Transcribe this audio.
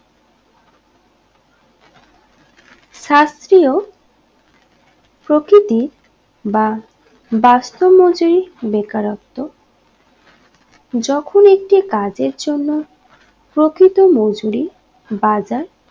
শাস্তিও প্রকৃতি বা বাস্তব মজরি বেকারত্ব যখন একটি কাজের জন্য প্রকৃত মজুরি বাজার